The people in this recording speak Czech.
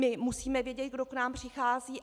My musíme vědět, kdo k nám přichází.